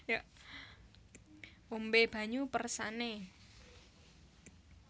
Ombé banyu peresané